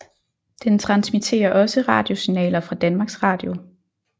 Den transmitterer også radiosignaler fra Danmarks Radio